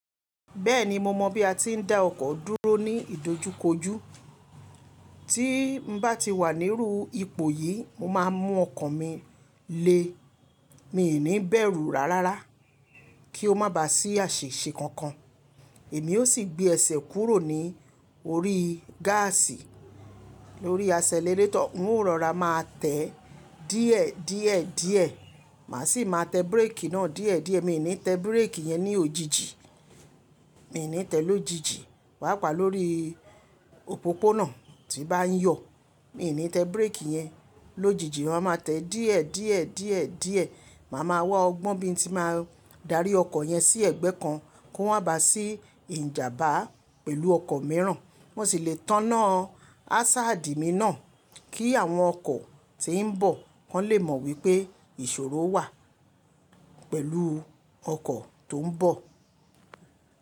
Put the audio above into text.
Bẹ́ẹ̀ni mo mọ̀ bí a ti ń dá ọkọ̀ dúró ní ìdojúkojú. Tí n bá ti wà níru ipò yìí, mo máa mú ọkan mi le. Mi ò ní bẹ̀rù rárá kí ó má bà sí àṣiṣẹ̀ kankan. Èmi o sì gbé ẹsẹ̀ kúrò ní orí gáàsì lórí asẹlẹrétọ̀, mó rọra máa tẹ̀ díẹ̀, díẹ̀, díẹ̀. Màá sì máa tẹ bírèkì náà díẹ̀, díẹ̀. Mi ò ní tẹ bírèkì yẹn ní òjijì, mi ò ní tẹ̀ lójijì. Paápa lórí òpópónà tí bá n yo, mi ò ní tẹ bírèkì yẹn lójijì. Máa ma tẹ díẹ̀, díẹ̀, díẹ̀, díẹ̀. Màá ma wá ọgbọ́n bí i tí máa darí ọkọ̀ yẹn sí ẹ̀gbẹ́ kan kó má bà sí ìjàmbá pẹ̀lú ọkọ̀ mìíràn. Mo sì le tánná hazard mi náà kí àwọn ọkọ̀ tí ń bọ̀ wọ́n lè mọ̀ wípé ìṣòro wà pẹ̀lú ọkọ̀ tó ń bọ̀.